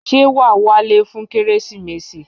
Ṣé wàá wálé fún Kérésìmesì?